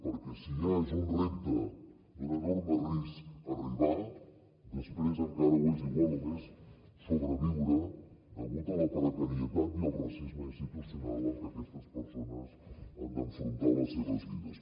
perquè si ja és un repte i un enorme risc arribar després encara ho és igual o més sobreviure degut a la precarietat i al racisme institucional amb què aquestes persones han d’enfrontar les seves vides